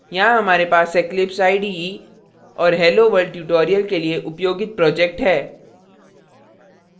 यहाँ हमारे पास eclipse ide और helloworld tutorial के लिए उपयोगित project है